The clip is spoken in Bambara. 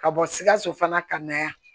Ka bɔ sikaso fana ka na yan